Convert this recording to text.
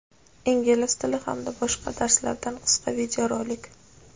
Ingliz tili hamda boshqa darslardan qisqa videorolik.